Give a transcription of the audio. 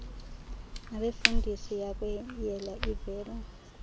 nabefundisi yakweyela ivele